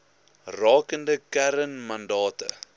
rakende kern mandate